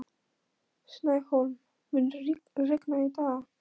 Snæhólm, mun rigna í dag?